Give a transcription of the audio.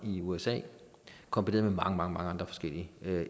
i usa kombineret med mange mange andre forskellige